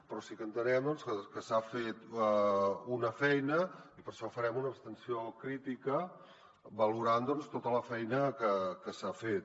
però sí que entenem doncs que s’ha fet una feina i per això farem una abstenció crítica valorant doncs tota la feina que s’ha fet